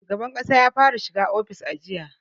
Shugaban ƙasa ya fara shiga ofis a jiya